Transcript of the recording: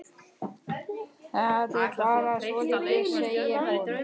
Það er bara svoleiðis, segir hún.